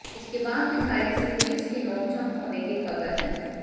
इसके बाद विधायक से पुलिस की नोकझोंक होने की खबर है